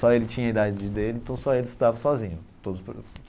Só ele tinha a idade dele, então só ele estudava sozinho.